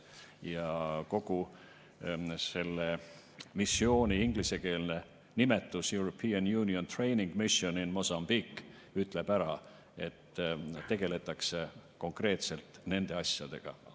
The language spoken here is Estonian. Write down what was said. Ja kogu selle missiooni ingliskeelne nimetus, European Union Training Mission in Mozambique, ütleb ära, et tegeldakse konkreetselt nende asjadega.